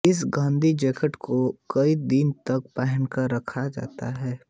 इस गद्दी या जैकेट को कई दिन तक पहनाकर रखा जाता है